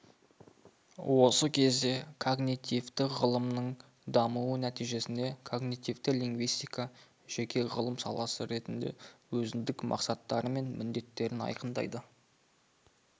осы кезде когнитивті ғылымның дамуы нәтижесінде когнитивті лингвистика жеке ғылым саласы ретінде өзіндік мақсаттары мен міндеттерін айқындады